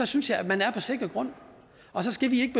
synes jeg at man er på sikker grund og så skal vi